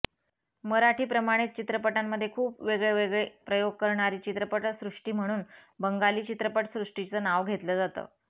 मराठीप्रमाणेच चित्रपटांमध्ये खूप वेगवेगळे प्रयोग करणारी चित्रपटसृष्टी म्हणून बंगाली चित्रपटसृष्टीचं नाव घेतलं जातं